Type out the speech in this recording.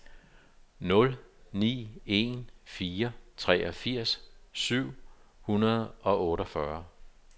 nul ni en fire treogfirs syv hundrede og otteogfyrre